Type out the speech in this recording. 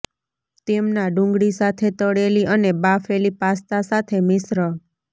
તેમના ડુંગળી સાથે તળેલી અને બાફેલી પાસ્તા સાથે મિશ્ર